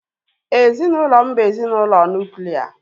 Ezinaụlọ m bu ezinaụlọ nuklia